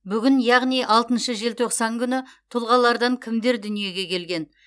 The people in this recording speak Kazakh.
бүгін яғни алтыншы желтоқсан күні тұлғалардан кімдер дүниеге келген